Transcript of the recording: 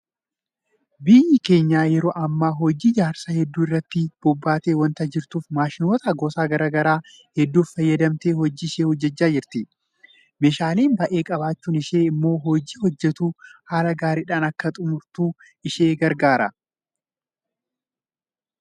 Biyyi keenya yeroo ammaa hojii ijaarsa hedduu irratti bobbaatee waanta jirtuuf maashinoota gosa garaa garaa hedduu fayyadamtee hojii ishee hojjechaa jirti. Meeshaalee baay'ee qabaachuun ishee immoo hojii hojjettu haala gaariidhaan akka xummurtu ishee gargaareera.